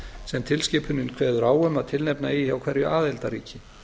sem tilskipunin kveður á um að tilnefna eigi hjá hverju aðildarríki